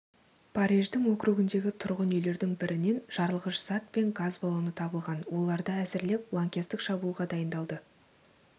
париждің округіндегі тұрғын үйлердің бірінен жарылғыш зат пен газ баллоны табылған оларды әзірлеп лаңкестік шабуылға дайындалды